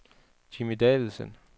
Jimmi Davidsen